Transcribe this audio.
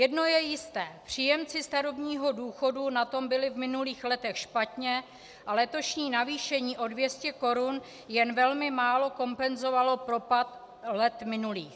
Jedno je jisté, příjemci starobního důchodu na tom byli v minulých letech špatně a letošní navýšení o 200 korun jen velmi málo kompenzovalo propad let minulých.